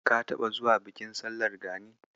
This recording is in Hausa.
Ka taɓa zuwa bikin sallar Gani?